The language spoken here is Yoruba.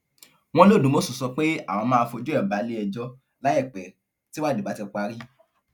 wọn lodúmọṣù sọ pé àwọn máa fojú ẹ balẹẹjọ láìpẹ tíwádìí bá ti parí